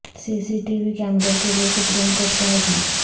سی C T V کیمروں کیلئے Supreme Court کا حکم